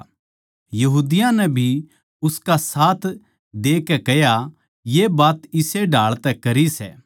यहूदियाँ नै भी उसका साथ देकै कह्या ये बात इस्से ढाळ तै करी सै